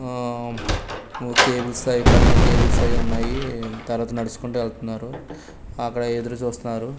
ఆమ్ ఒ కేబుల్స్ అయ్ పైన కేబుల్స్ ఐ ఉన్నాయి తర్వాత నడుచుకుంటూ ఎల్తన్నారు అక్కడ ఎదురు చూస్తారు.